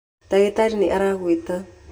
Ndagĩtarĩ nĩ aragwĩta.